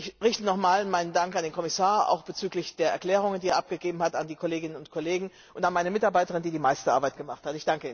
Ich richte nochmals meinen Dank an den Kommissar, auch bezüglich der Erklärungen, die er abgegeben hat, an die Kolleginnen und Kollegen und an meine Mitarbeiterin, die die meiste Arbeit gemacht hat.